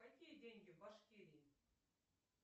какие деньги в башкирии